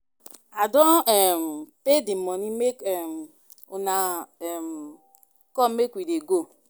I don um pay the money make um una come make we dey go